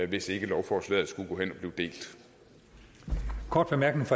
hvis ikke lovforslaget skulle gå hen og